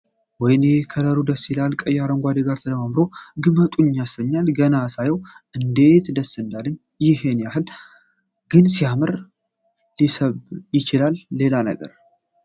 ወይኔ ከለሩ ደስ ሲል ቀዩ ከአረንጓዴው ጋር ተዳምሮ ግመጡኝ ያሰኛል ፤ ገና ሳየው እንዴት ደስ እንዳለኝ ፤ ይሔን ያሕል ግን ሊያምር እና ሊስብ ይችላል ሌላ ነገር?